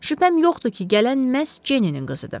Şübhəm yoxdur ki, gələn məhz Jenny-nin qızıdır.